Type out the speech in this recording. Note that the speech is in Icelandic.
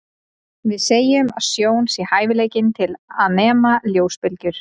Við segjum að sjón sé hæfileikinn til að nema ljósbylgjur.